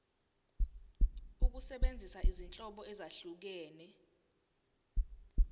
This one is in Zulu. ukusebenzisa izinhlobo ezahlukehlukene